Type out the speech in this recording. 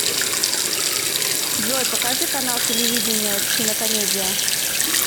джой покажи канал телевидения кинокомедия